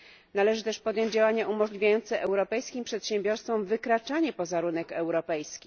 Należy też podjąć działania umożliwiające europejskim przedsiębiorstwom wykraczanie poza rynek europejski.